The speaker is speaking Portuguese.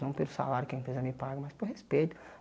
Não pelo salário que a empresa me paga, mas por respeito.